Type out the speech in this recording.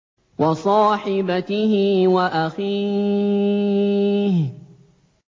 وَصَاحِبَتِهِ وَأَخِيهِ